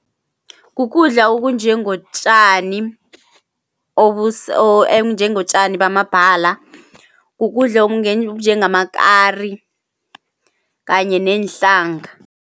Kukudla okunjengotjani okunjengotjani bamabhala, kukudla okunjengamakari kanye neenhlanga.